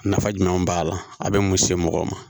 Nafa jumɛn b'a la a bɛ mun se mɔgɔ ma